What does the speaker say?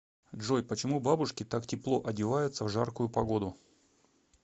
джой почему бабушки так тепло одеваются в жаркую погоду